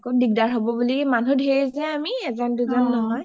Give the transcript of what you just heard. আকৌ দিগদাৰ হ’ব বুলি মানুহ ধেৰ যে আমি এজন দুজন নহয়